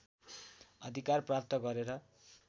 अधिकार प्राप्त गरेर